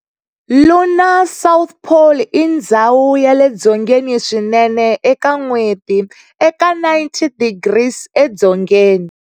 Lunar south pole i ndzhawu yale dzongeni swinene eka N'weti, eka 90 degrees e dzongeni.